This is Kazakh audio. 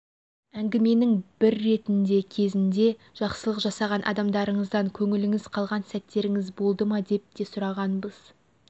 әңгіменің бір ретінде кезінде жақсылық жасаған адамдарыңыздан көңіліңіз қалған сәттеріңіз болды ма деп те сұрағанбыз